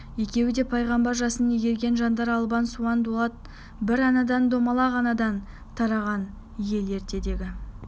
екеуі де пайғамбар жасын игерген жандар албан суан дулат бір анадан домалақ анадан тараған ел ертедегі